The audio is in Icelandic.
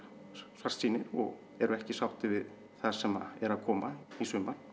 svartsýnir og eru ekki sáttir við það sem er að koma í sumar